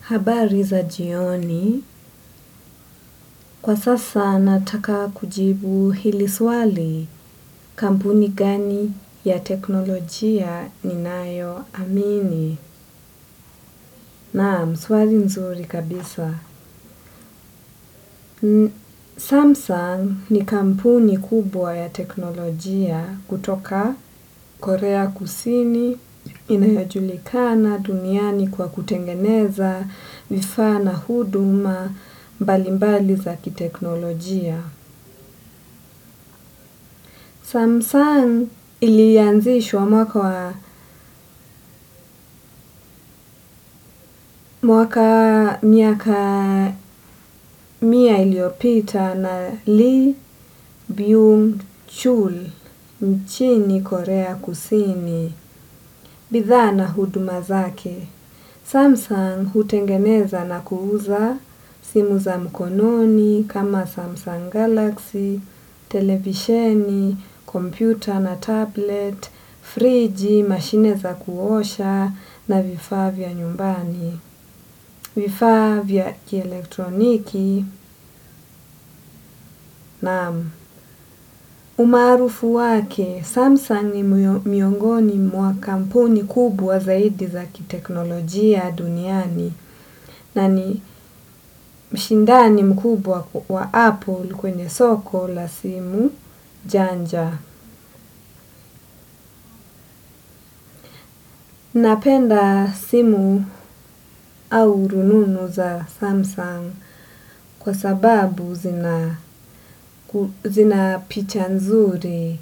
Habari za jioni, kwa sasa nataka kujibu hili swali kampuni gani ya teknolojia ni nayo amini. Na, swali nzuri kabisa. Samsung ni kampuni kubwa ya teknolojia kutoka Korea kusini inayojulikana duniani kwa kutengeneza vifaa na huduma mbalimbali za kiteknolojia. Samsung ilianzishwa mwaka miaka mia iliopita na Lee, Byung, Chul, nchini korea kusini, bidhaa na huduma zake. Samsung hutengeneza na kuuza simu za mkononi kama Samsung Galaxy, televisheni, kompyuta na tablet, friji, mashine za kuosha na vifaa vya nyumbani, vifaa vya kielektroniki na umarufu wake, Samsung ni miongoni mwa kampuni kubwa zaidi za kiteknolojia duniani. Na ni mshindani mkubwa wa Apple kwenye soko la simu janja. Napenda simu au rununu za Samsung kwa sababu zina picha nzuri.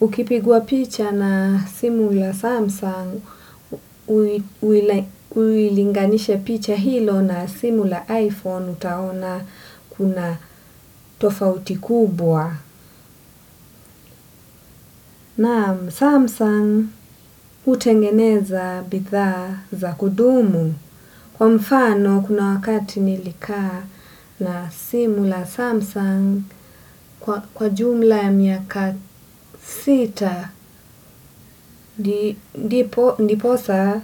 Ukipigwa picha na simu ya Samsung, uilinganisha picha hilo na simu la iPhone utaona kuna tofauti kubwa. Na Samsung hutengeneza bidhaa za kudumu. Kwa mfano kuna wakati nilikaa na simu la Samsung kwa jumla ya miaka sita. Ndiposa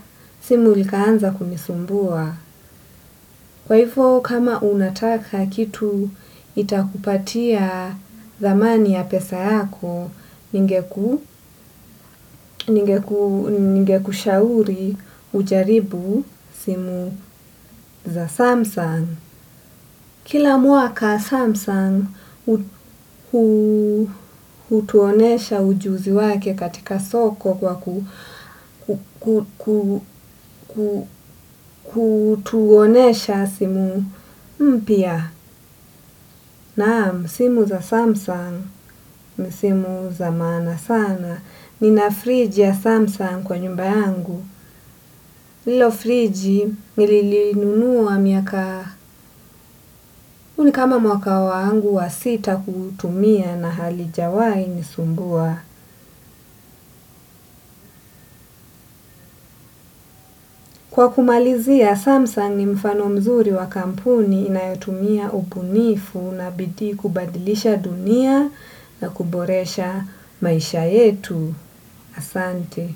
simu likaanza kunisumbua. Kwa hivo kama unataka kitu itakupatia thamani ya pesa yako ningeku ningekushauri ujaribu simu za Samsung. Kila mwaka Samsung hutuonesha ujuzi wake katika soko kwa kutuonesha simu mpya. Na simu za Samsung, ni simu za maana sana. Nina fridge ya Samsung kwa nyumba yangu. Lilo friji nililinunua miaka huu ni kama mwaka wangu wa sita kutumia na halijawahi nisumbua. Kwa kumalizia Samsung ni mfano mzuri wa kampuni inayotumia ubunifu na bidii kubadilisha dunia na kuboresha maisha yetu. Asante.